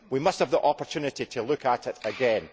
We must have the opportunity to look at it again.